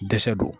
Dɛsɛ don